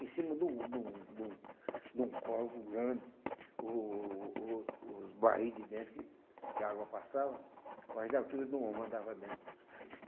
Em cima de um de um de um de um córrego grande, o o o os barris de dentro que que a água passava, quase da altura de um homem andava dentro.